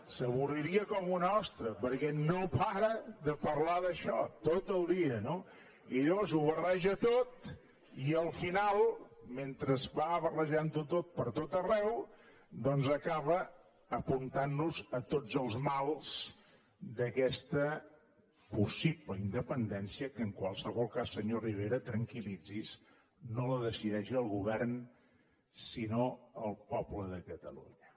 s’avorriria com una ostra perquè no para de parlar d’això tot el dia no i llavors ho barreja tot i al final mentre va barrejant ho tot pertot arreu doncs acaba apuntant nos a tots els mals d’aquesta possible independència que en qualsevol cas senyor rivera tranquil·litzi’s no la decideix el govern sinó el poble de catalunya